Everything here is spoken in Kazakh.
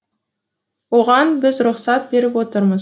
оған біз рұқсат беріп отырмыз